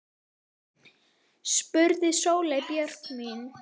spurði Sóley Björk mig.